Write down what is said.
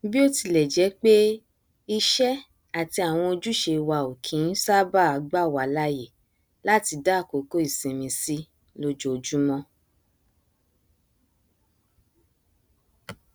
bíótilẹjẹpé iṣẹ àti àwọn ojúṣe wa ò kí nṣábàá gbàwá láàyè láti dá àkókò ìsinmi sí lójoojúmọ